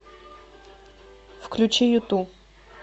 включи юту